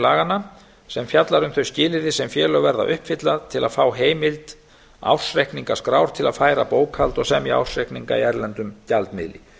laganna sem fjallar um þau skilyrði sem félög verða að uppfylla til að fá heimild ársreikningaskrár til að færa bókhald og semja ársreikninga í erlendum gjaldmiðli